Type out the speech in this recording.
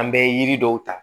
An bɛ yiri dɔw ta